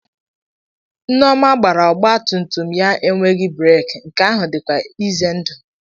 Nneoma gbara ọgba tum tum ya enweghị breek, nke ahụ dịkwa ize ndụ.